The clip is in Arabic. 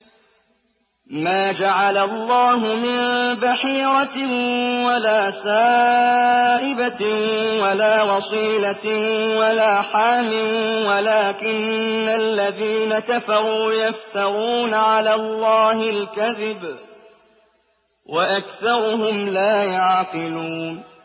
مَا جَعَلَ اللَّهُ مِن بَحِيرَةٍ وَلَا سَائِبَةٍ وَلَا وَصِيلَةٍ وَلَا حَامٍ ۙ وَلَٰكِنَّ الَّذِينَ كَفَرُوا يَفْتَرُونَ عَلَى اللَّهِ الْكَذِبَ ۖ وَأَكْثَرُهُمْ لَا يَعْقِلُونَ